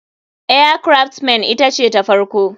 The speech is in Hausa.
Air craft men ita ce ta farko.